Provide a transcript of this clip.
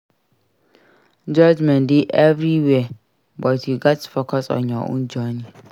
Judgment dey everywhere but you gats focus on your own journey